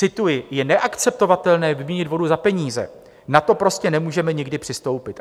Cituji: Je neakceptovatelné vyměnit vodu za peníze, na to prostě nemůžeme nikdy přistoupit.